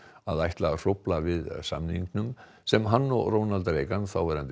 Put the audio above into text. að ætla að hrófla við samningnum sem hann og Ronald Reagan þáverandi